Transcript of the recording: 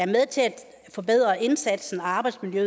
forbedre arbejdsmiljøet